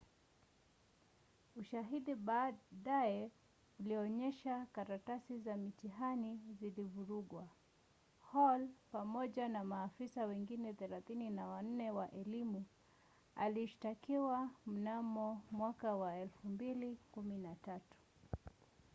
ushahidi baadaye ulionyesha karatasi za mtihani zilivurugwa. hall pamoja na maafisa wengine 34 wa elimu alishtakiwa mnamo 2013